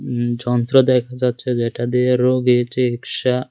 উম যন্ত্র দেখা যাচ্ছে যেটা দিয়ে রোগীর চিকিৎসা--